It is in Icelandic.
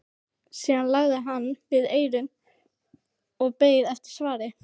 Síðan lagði hann við eyrun og beið eftir svari.